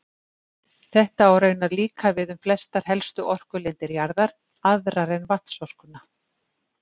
Þetta á raunar líka við um flestar helstu orkulindir jarðar, aðrar en vatnsorkuna.